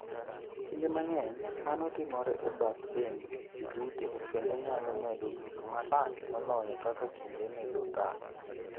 Kinde mang'eny, mano timore e bath dend ji duto kendo nyalo medo bedo marach moloyo kaka kinde medo kalo.